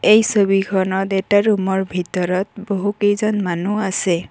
এই ছবিখনত এটা ৰুম ৰ ভিতৰত বহুকেইজন মানুহ আছে।